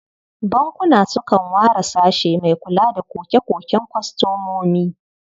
Bankuna sukan ware sashe mai kula da koke-koken kwastomomi.